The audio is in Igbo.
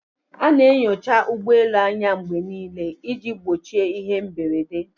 A na-enyocha ụgbọ elu anya mgbe niile iji gbochie ihe mberede